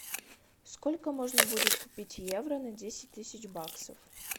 сколько можно будет купить евро на десять тысяч баксов